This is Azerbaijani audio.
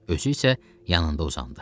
Özü isə yanında uzandı.